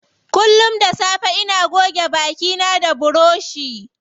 Kullum da safe ina goge baki na da buroshi.